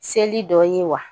Seli dɔ ye wa